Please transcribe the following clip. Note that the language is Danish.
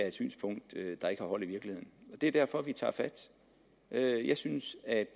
et synspunkt der ikke har hold i virkeligheden det er derfor at vi tager fat jeg jeg synes at